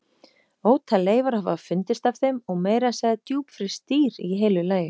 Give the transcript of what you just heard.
Ótal leifar hafa fundist af þeim og meira að segja djúpfryst dýr í heilu lagi.